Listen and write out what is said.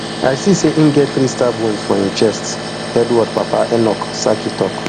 i see say im get three stab wounds for im chest edward papa enoch sackey tok